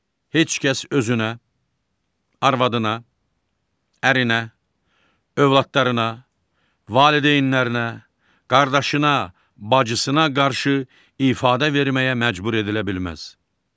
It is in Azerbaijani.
Heç kəs özünə, arvadına, ərinə, övladlarına, valideynlərinə, qardaşına, bacısına qarşı ifadə verməyə məcbur edilə bilməz.